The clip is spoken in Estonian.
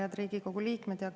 Head Riigikogu liikmed!